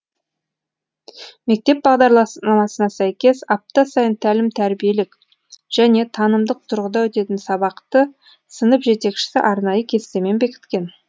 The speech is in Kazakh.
мектеп бағдарламасына сәйкес апта сайын тәлім тәрбиелік және танымдық тұрғыда өтетін сабақты сынып жетекшісі арнайы кестемен бекіткен